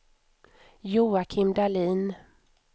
Joakim Dahlin